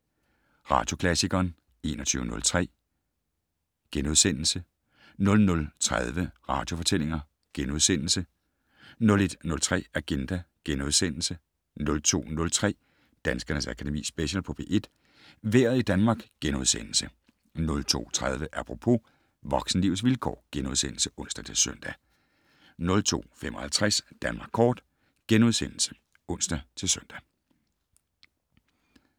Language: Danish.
21:03: Radioklassikeren * 00:30: Radiofortællinger * 01:03: Agenda * 02:03: Danskernes Akademi Special på P1: Vejret i Danmark * 02:30: Apropos - voksenlivets vilkår *(ons-søn) 02:55: Danmark Kort *(ons-søn)